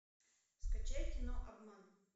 скачай кино обман